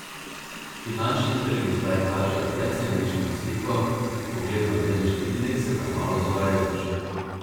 Finančni trgi zdaj kažejo precej mešano sliko, pogled na delniške indekse pa je malo zavajajoč.